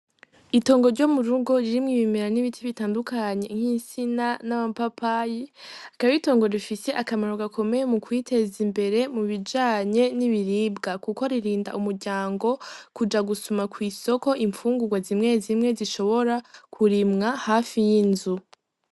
Itongo ryo murugo ririmwo ibimera n'ibiti bitandukanye nk'insina, n'amapapayi akaba aritongo rifise akamaro gakomeye mu kwiteza imbere mubijanye n'ibiribwa kuko ririnda umuryango kuja gusuma kw'isoko imfungugwa zimwe zimwe zishobora kurimwa hafi y'inzu.